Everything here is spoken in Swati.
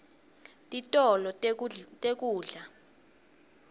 titolo tekudla